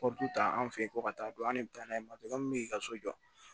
ta an fe yen ko ka taa don an de be taa n'a ye i ka so jɔ